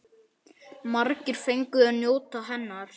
Margir fengu að njóta hennar.